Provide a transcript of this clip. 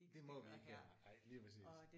Det må vi ikke her nej. Lige præcis